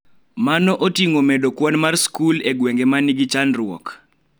Mano oting�o medo kwan mar skul e gwenge ma nigi chandruok,